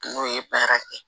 N'o ye baara kɛ